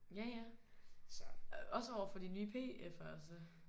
Ja ja også overfor de nye PF'ere også?